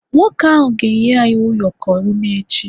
nwoke ahu ga enye anyi ụyọkọ une echi